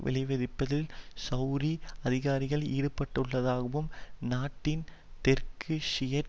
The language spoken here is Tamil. விளைவிப்பதில் செளதி அதிகாரிகள் ஈடுபட்டுள்ளதாகவும் நாட்டின் தெற்கு ஷியைட்